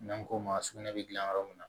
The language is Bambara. N'an ko ma sugunɛ bɛ dilan yɔrɔ min na